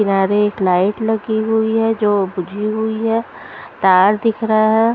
किनारे एक लाइट लगी हुई है जो बुझी हुई है तार दिख रहा है।